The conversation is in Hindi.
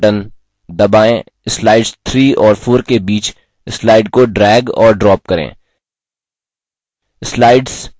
अब बायाँ mouse button दबाएँ slides 3 और 4 के बीच slide को drag और drop करें